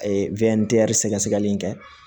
A ye wɛn diyɛri sɛgɛsɛgɛli in kɛ